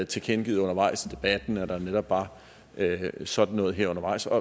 tilkendegivet undervejs i debatten altså at der netop var sådan noget her undervejs og